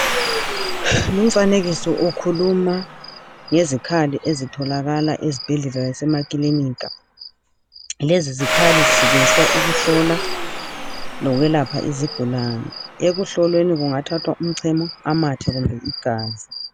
Lumfanekiso ukhuluma ngezikhali ezitholakala ezibhedlela lasemakilinika, lezi zikhali zisetshenziswa ukuhlola lokwelapha izigulani, ukuhlolweni kungathathwa umchemo amathe kumbe igazi.